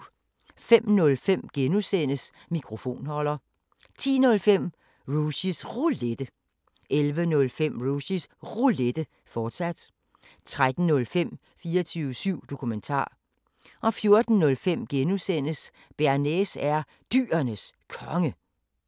05:05: Mikrofonholder (G) 10:05: Rushys Roulette 11:05: Rushys Roulette, fortsat 13:05: 24syv Dokumentar 14:05: Bearnaise er Dyrenes Konge (G)